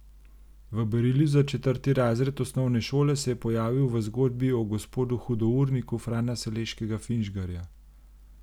V berilu za četrti razred osnovne šole se je pojavil v zgodbi o Gospodu Hudourniku Frana Saleškega Finžgarja.